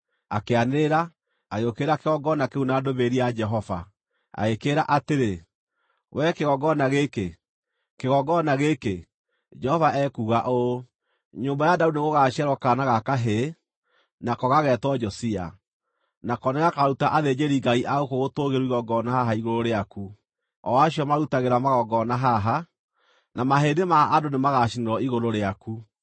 Akĩanĩrĩra, agĩũkĩrĩra kĩgongona kĩu na ndũmĩrĩri ya Jehova, agĩkĩĩra atĩrĩ, “Wee kĩgongona gĩkĩ, kĩgongona gĩkĩ! Jehova ekuuga ũũ, ‘Nyũmba ya Daudi nĩgũgaciarwo kaana ga kahĩĩ, nako gageetwo Josia. Nako nĩgakaruta athĩnjĩrĩ-Ngai a gũkũ gũtũũgĩru igongona haha igũrũ rĩaku, o acio marutagĩra magongona haha, na mahĩndĩ ma andũ nĩmagacinĩrwo igũrũ rĩaku.’ ”